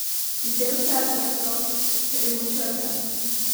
Veliko kletvic, ki jih slišite, so z naših plošč.